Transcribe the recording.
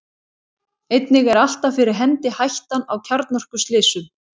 einnig er alltaf fyrir hendi hættan á kjarnorkuslysum